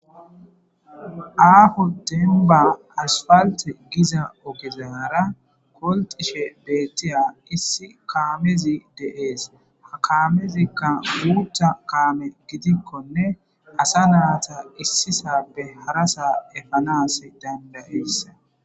aafu denba asfalte giza ogezaara koltishe beettiya issi kaamezi de7ees ha kaamezikka muutha kaame gidikkonne asa naata issisabe harasaa efanas dandayeessa